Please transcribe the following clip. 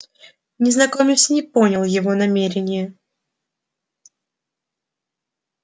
незнакомец не понял его намерения